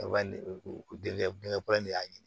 bangeba in de y'a ɲini